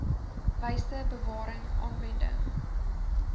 wyse bewaring aanwending